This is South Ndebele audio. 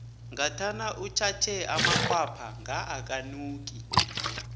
ngathana utjhatjhe amakhwapha nga akanuki